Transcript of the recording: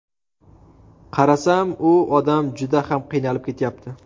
Qarasam, u odam juda ham qiynalib ketyapti.